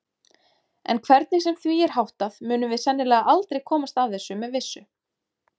En hvernig sem því er háttað munum við sennilega aldrei komast að þessu með vissu.